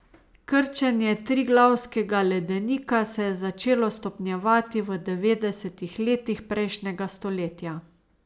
Krčenje Triglavskega ledenika se je začelo stopnjevati v devetdesetih letih prejšnjega stoletja.